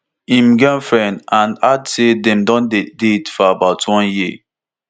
im girlfriend and add say dem don dey date for about one year